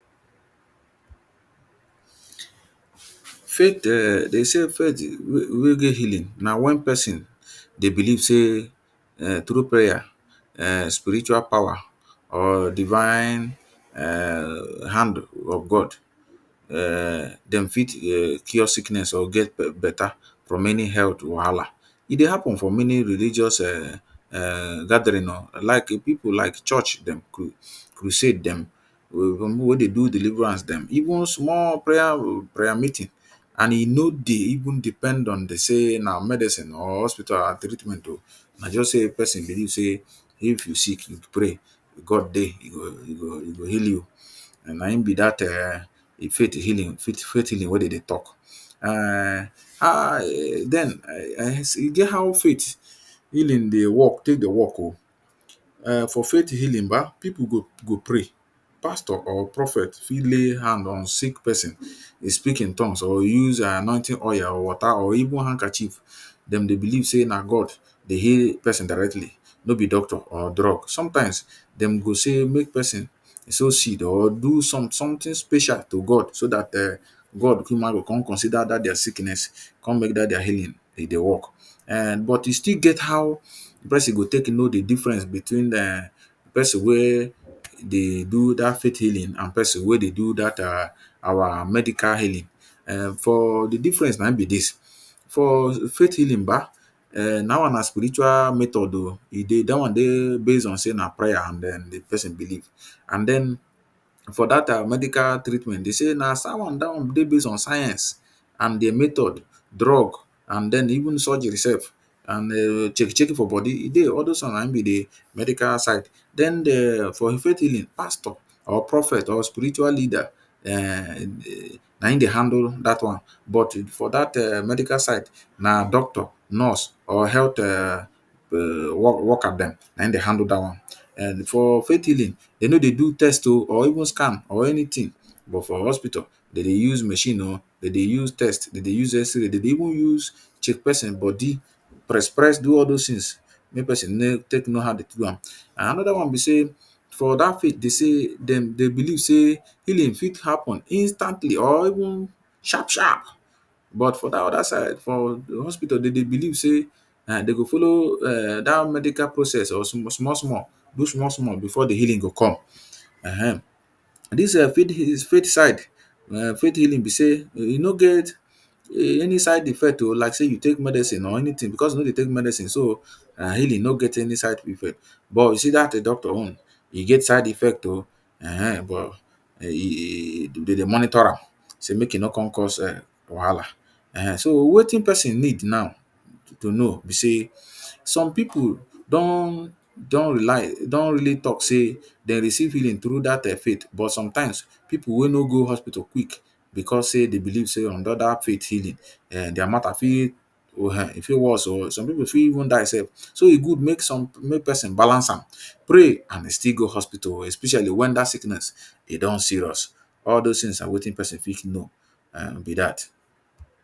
Faith um de say faith wey get healing na when pesin dey believe sey um through prayer um spiritual power or divine um hand of God um dem fit um cure sickness or get beta from many health wahala. E dey happen for many religious um gathering oh. Like pipu, like church dem, crusade dem wey dey do deliverance dem even small prayer meeting. And e no dey even dey depend on the sey na medicine or hospital treatment oh. Na just sey, pesin believe sey, if you sick, you pray. God dey e go e go heal you. Na im be dat um e faith healing faith healing wey de dey talk. um den um e get how faith healing dey work, take dey work oh. um For faith healing ba, pipu go go pray. Pastor or prophet fit lay hand on sick pesin, dey speak in tongues or use um anointing oil or water or even handkerchief. Dem dey believe sey na God dey heal pesin directly no be doctor or drug. Sometimes, de go say make pesin sow seed or do some something special to God, so dat um God cuma go con consider their sickness. come make dat their healing dey work. um but e still get how the pesin go take know the difference between um pesin wey dey do dat faith healing anmd pesin wey dey do dat um our medical healing. For the difference na im be dis. For faith healing ba um dat one na spiritual method oh. E dey dat one dey base on sey na prayer and den the pesin believe. And den, for dat um medical treatment, they say na dey base on science and di method, drug and den even surgery self and um check -check for body e dey. All dos ones na im be the medical side. Den, de for faith healing, pastor or prophet or spiritual leader um na im dey handle dat one. But for dat um medical side na doctor, nurse or health um um worker dem, na im dey handle dat one. um For faith healing, de no dey do test oh or even scan or anything. But for hospital, de dey use machine oh, de dey use test, de dey use x-ray, de dey even use check pesin body. Press press, do all dos things, make pesin know take know how de take do am. Another one be sey, for dat faith, they say de de believe sey healing fit happen instantly or even sharp sharp. But for dat other side, for hospital, de dey believe sey um de go follow um dat medical process small small do small small before the healing go come um. Dis um faith side um faith healing be sey, e e no get um any side effect oh. Like sey you take medicine or anything. Because you no dey take medicine, so, healing no get any side effect. But you see dat doctor own e get side effect oh um but um e de dey monitor am sey make e no con cause um wahala. um So, wetin pesin need now to to know be sey some pipu don don don really talk sey, they receive healing through dat um faith. But sometimes, pipu wey no go hospital quick because sey they believe sey on under faith healing um their matter fit um fit worse oh. Some pipu fit even die self. So, e good make some make pesin balance am. Pray and still go hospital especially when dat sickness e don serious. All dos things na wetin pesin fit know be dat.